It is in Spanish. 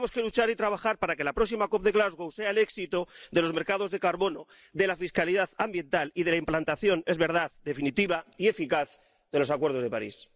Y tenemos que luchar y trabajar para que la próxima COP de Glasgow sea el éxito de los mercados de carbono, de la fiscalidad ambiental y de la implantación —es verdad— definitiva y eficaz, de los acuerdos de París.